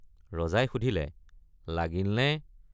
ৰজাই সুধিলে লাগিলনে?